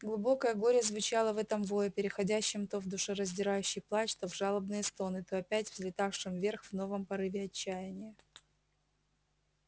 глубокое горе звучало в этом вое переходившем то в душераздирающий плач то в жалобные стоны то опять взлетавшем вверх в новом порыве отчаяния